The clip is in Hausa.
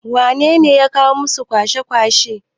wanene ya kirawo su, su kwashe kwata?